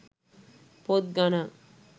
පොත් ගණන්.